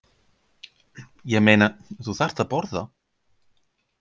Ég meina, þú þarft að borða